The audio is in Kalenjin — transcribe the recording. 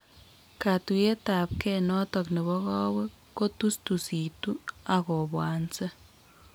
Katuiyetabge notok nebo kowek kotustusitu ak kobwanse